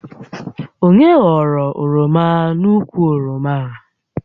Onye ghọrọ oroma n'ukwu oroma a?